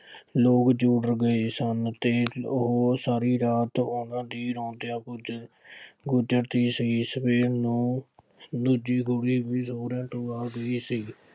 ਲੋਕ ਗਏ ਸਨ ਅਤੇ ਉਹ ਸਾਰੀ ਰਾਤ ਉਹਨਾ ਦੀ ਰੌਂਦਿਆਂ ਗੁਜ਼ਰ ਗਜ਼ਰਦੀ ਸੀ। ਸਵੇਰ ਨੂੰ ਦੂਜੀ ਕੁੜੀ ਵੀ ਸਹੁਰਿਆਂ ਤੋਂ ਆ ਗਈ ਸੀ।